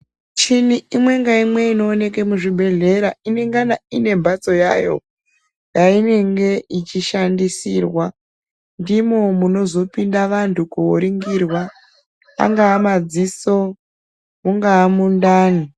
Michini imwe ngeimwe inoonekwa muzvibhedhlera ino rinagana ngembatso yayo yainenge ichishandisirwa ndimo munozo pinda vantu koningirwa angava madziso ungava mundani.